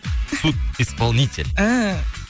судисполнитель ііі